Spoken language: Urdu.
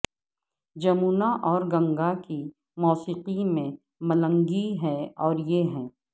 جمونا اور گنگا کی موسیقی میں ملنگی ہے اور یہ ہے